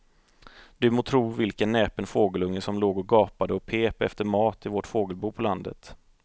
Du må tro vilken näpen fågelunge som låg och gapade och pep efter mat i vårt fågelbo på landet.